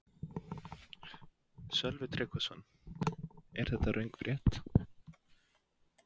Sölvi Tryggvason: Er þetta röng frétt?